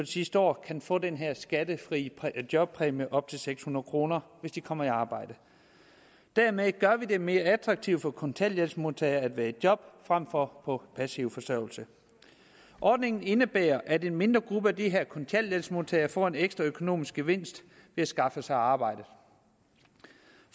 sidste år kan få den her skattefri jobpræmie på op til seks hundrede kr hvis de kommer i arbejde dermed gør vi det mere attraktivt for kontanthjælpsmodtagere at være i job frem for på passiv forsørgelse ordningen indebærer at en mindre gruppe af de her kontanthjælpsmodtagere får en ekstra økonomisk gevinst ved at skaffe sig arbejde